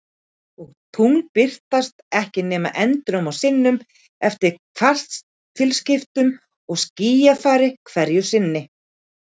Og tungl birtast ekki nema endrum og sinnum, eftir kvartilaskiptum og skýjafari hverju sinni.